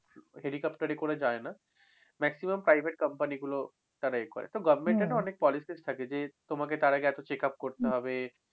helicopter এ করে যায় না। maximum private company গুলো তারাই করে। তো government এর না অনেক policies থাকে যে তোমাকে তার আগে এত checkup করতে হবে।